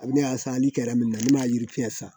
A bɛ ne y'a san hali min na ne m'a yirifiɲɛ san